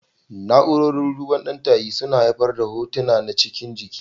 Na'urorin duban ɗan tayi suna haifar da hotuna na cikin jiki.